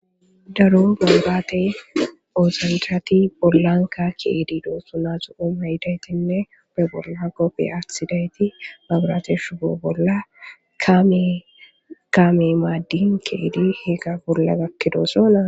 Daro galbaate oozandati bollanka kiedidoo sunasu7omayidaytinne be bolla qopfe asidayti mabrateshu be bolla mekame maaddin keedi higa bolla gakkido sona.